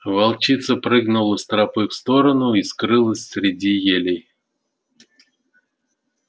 волчица прыгнула с тропы в сторону и скрылась среди елей